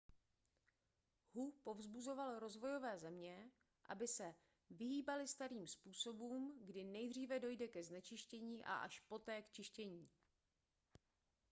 hu povzbuzoval rozvojové země aby se vyhýbaly starým způsobům kdy nejdříve dojde ke znečištění a až poté k čištění